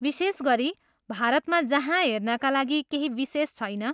विशेष गरी भारतमा जहाँ हेर्नका लागि केही विशेष छैन!